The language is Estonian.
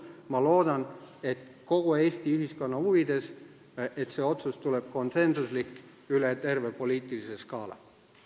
Ma loodan, kogu Eesti ühiskonna huvides, et see otsus tuleb konsensuslik üle terve poliitilise skaala.